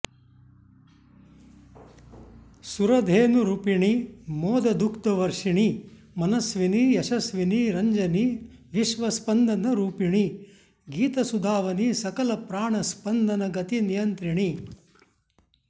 सुरधेनुरूपिणि मोददुग्धवर्षिणि मनस्विनि यशस्विनि रञ्जनि विश्वस्पन्दन रूपिणि गीतसुधावनि सकलप्राण स्पन्दनगतिनियन्त्रिणि